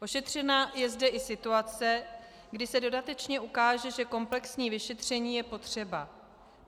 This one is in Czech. Ošetřena je zde i situace, kdy se dodatečně ukáže, že komplexní vyšetření je potřeba.